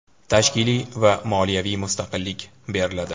tashkiliy va moliyaviy mustaqillik beriladi.